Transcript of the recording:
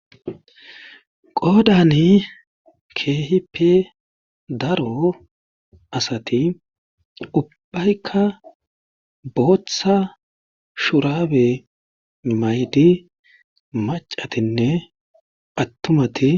Qoodani keehippe daro asati ubbayka bootha shuraabe mayidi maccatinne attumati.